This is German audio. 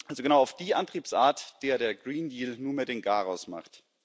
Also genau auf die Antriebsart, der der Green Deal nunmehr den Garaus macht.